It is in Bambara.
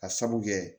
A sabu kɛ